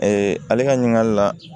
ale ka ɲininkali la